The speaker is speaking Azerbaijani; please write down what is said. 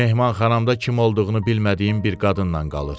Mehmanxanamda kim olduğunu bilmədiyim bir qadınla qalır.